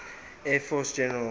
air force general